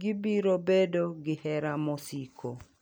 gibiro bedo gi hera mosiko